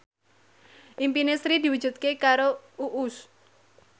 impine Sri diwujudke karo Uus